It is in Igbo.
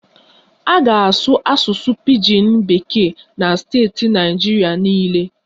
A ga-asụ Asụsụ Pijin Bekee na steeti Naịjirịa niile